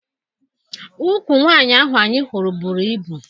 Ụkwụ nwaanyị ahụ anyị hụrụ bụrụ ibu.